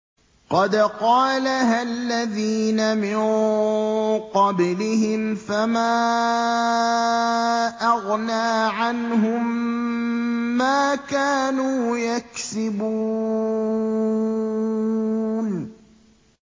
قَدْ قَالَهَا الَّذِينَ مِن قَبْلِهِمْ فَمَا أَغْنَىٰ عَنْهُم مَّا كَانُوا يَكْسِبُونَ